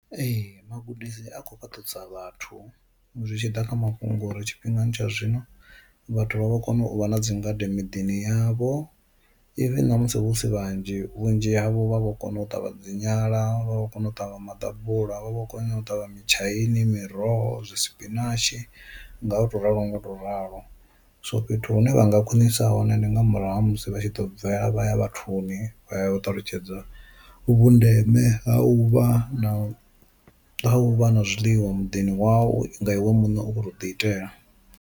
Ee magudisi a kho fhaṱudza vhathu zwi tshi ḓa kha mafhungo uri tshifhingani tsha zwino vhathu vha vha kono u vha na dzingade miḓini yavho, even ṋamusi hu si vhanzhi vhunzhi havho vha vho kona u ṱavha dzi nyala vha vho kona u ṱavha maḓabula vha vho kona u ṱavha mitshaini miroho zwi sipinatshi nga u to ralo ngo ralo, so fhethu hune vha nga khwinisa hone ndi nga murahu ha musi vha tshi ḓo bvela vha vhathuni vha ya u ṱalutshedza vhundeme ha u vha na u vha na zwiḽiwa muḓini wau nga iwe muṋe u kho tou ḓi itela.